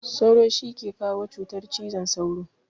Sauro shi ke kawo cutar cizon sauro.